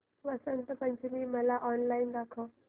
वसंत पंचमी मला ऑनलाइन दाखव